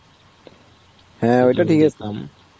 হ্যাঁ ওইটা ঠিক আছে.